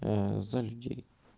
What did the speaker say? за людей